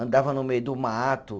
Andava no meio do mato.